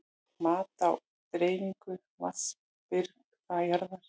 Mat á dreifingu vatnsbirgða jarðar.